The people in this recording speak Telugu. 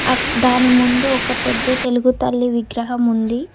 దాని ముందు ఒక పెద్ద తెలుగు తల్లి విగ్రహం ఉంది.